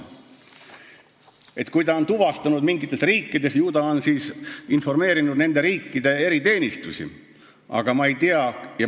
Kui ta on midagi tuvastanud mingites riikides, ju ta on siis ka nende riikide eriteenistusi informeerinud.